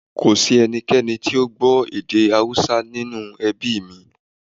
Kò sí ẹnì kankan tí ò gbọ́ èdè Haúsá nínú ẹbí mí